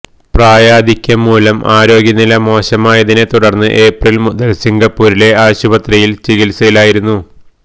പ്രായാധിക്യം മൂലം ആരോഗ്യനില മോശമായതിനെ തുടര്ന്ന് ഏപ്രില് മുതല് സിംഗപ്പൂരിലെ ആശുപത്രിയില് ചികിത്സയിലായിരുന്നു